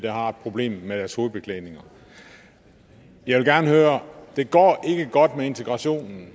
har et problem med deres hovedbeklædninger jeg vil gerne høre det går ikke godt med integrationen